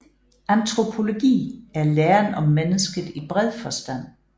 Antropologi er læren om mennesket i bred forstand